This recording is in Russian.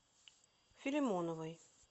филимоновой